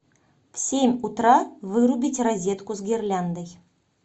в семь утра вырубить розетку с гирляндой